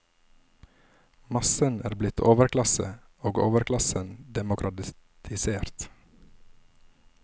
Massen er blitt overklasse, og overklassen demokratisert.